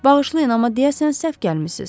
Bağışlayın, amma deyəsən səhv gəlmisiz.